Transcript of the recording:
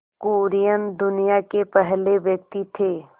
कुरियन दुनिया के पहले व्यक्ति थे